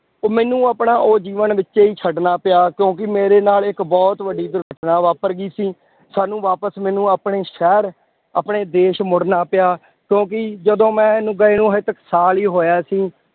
ਉਹ ਮੈਨੂੰ ਆਪਣਾ ਉਹ ਜੀਵਨ ਵਿੱਚੇ ਹੀ ਛੱਡਣਾ ਪਿਆ ਕਿਉਂਕਿ ਮੇਰੇ ਨਾਲ ਇੱਕ ਬਹੁਤ ਵੱਡੀ ਦੁਰਘਟਨਾ ਵਾਪਰ ਗਈ ਸੀ, ਸਾਨੂੰ ਵਾਪਸ ਮੈਨੂੰ ਆਪਣੇ ਸ਼ਹਿਰ, ਆਪਣੇ ਦੇਸ ਮੁੜਨਾ ਪਿਆ, ਕਿਉਂਕਿ ਜਦੋਂ ਮੈਂ ਗਏ ਨੂੰ ਹਾਲੇ ਤਾਂ ਸਾਲ ਹੀ ਹੋਇਆ ਸੀ